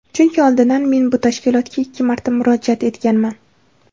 Chunki oldin men bu tashkilotga ikki marta murojaat etganman.